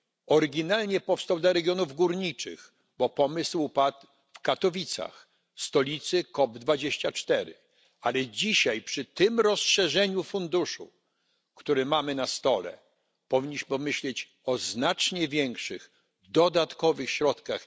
Oryginalnie powstał dla regionów górniczych, bo pomysł padł w Katowicach, w stolicy COP24, ale dzisiaj przy tym rozszerzeniu funduszu, który mamy na stole, powinniśmy myśleć o znacznie większych, dodatkowych środkach.